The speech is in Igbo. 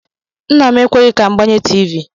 Nna m ekweghị ka m gbanye tiivi.